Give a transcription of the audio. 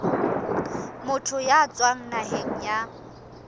motho ya tswang naheng ya